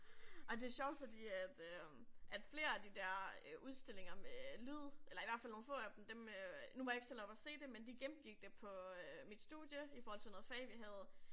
Ej men det sjovt fordi at øh at flere af de der udstillinger med lyd eller i hvert fald nogle få af dem dem øh nu var jeg ikke selv oppe og se det men de gennemgik det på øh mit studie i forhold til noget fag vi havde